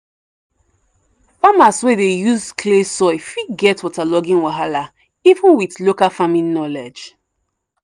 farmers wey dey use clay soil fit get waterlogging wahala even with local farming knowledge.